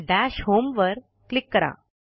दश होम वर क्लिक करा